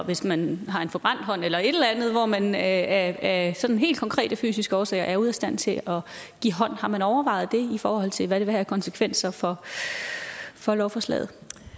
hvis man har en forbrændt hånd eller et eller andet hvor man af sådan helt konkrete fysiske årsager er ude af stand til at give hånd har man overvejet det i forhold til hvad det vil have af konsekvenser for for lovforslaget